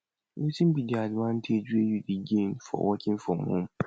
wetin be di advantage wey you dey gain for working from home